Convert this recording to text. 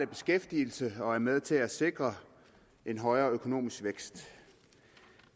beskæftigelse og er med til at sikre en højere økonomisk vækst